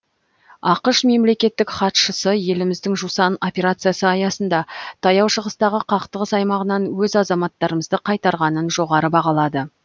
ақш мемлекеттік хатшысы еліміздің жусан операциясы аясында таяу шығыстағы қақтығыс аймағынан өз азаматтарымызды қайтарғанын жоғары бағалады